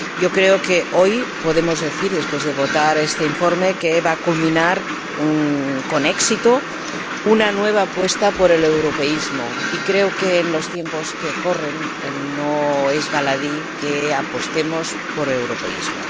Creo que hoy podemos decir, después de votar este informe, que va a culminar con éxito una nueva apuesta por el europeísmo, y creo que, en los tiempos que corren, no es baladí que apostemos por el europeísmo.